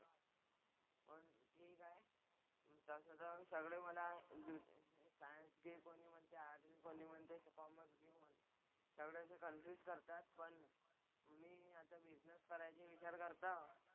ठीक आहे. तसं तर सगळे मला सायन्स घे कॊणी म्हणतं आर्टस्, कोणी म्हणतं कॉमर्स घे. सगळे असे कन्फ्युज करतात पण मी आता बिझनेस करायची विचार करतो आहोत.